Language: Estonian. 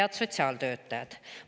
Head sotsiaaltöötajad!